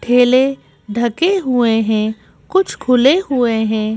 ठेले ढके हुए हैं कुछ खुले हुए हैं।